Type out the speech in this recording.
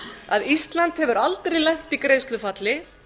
að ísland hefur aldrei lent í greiðslufalli